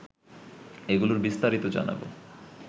এগুলোর বিস্তারিত জানাব